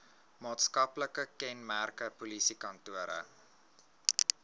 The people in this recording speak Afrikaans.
maatskaplike kenmerke polisiekantore